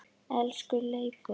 Elsku Leifur.